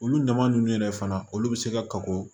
Olu naman ninnu yɛrɛ fana olu be se ka kago